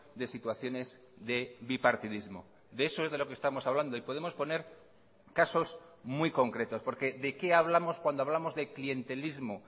de situaciones de bipartidismo de eso es de lo que estamos hablando y podemos poner casos muy concretos porque de qué hablamos cuando hablamos de clientelismo